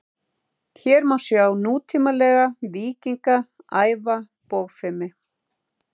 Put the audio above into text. hér má sjá nútímalega „víkinga“ æfa bogfimi